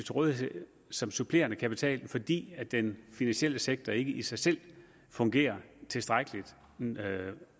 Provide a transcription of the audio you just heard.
rådighed som supplerende kapital fordi den finansielle sektor i dag ikke i sig selv fungerer tilstrækkelig